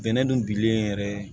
Bɛnɛ dun bilen yɛrɛ